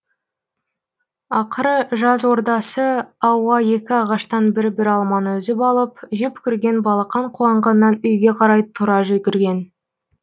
ақыры жаз ортасы ауа екі ағаштан бір бір алманы үзіп алып жеп көрген балақан қуанғаннан үйге қарай тұра жүгірген